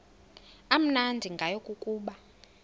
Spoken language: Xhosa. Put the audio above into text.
amnandi ngayo kukuba